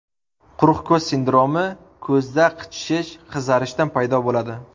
Quruq ko‘z sindromi ko‘zda qichishish, qizarishdan paydo bo‘ladi.